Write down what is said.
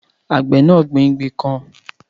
Àgbẹ̀ náà gbin igi kan